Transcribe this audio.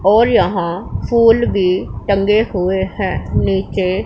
और यहां फूल भी टंगे हुए हैं नीचे--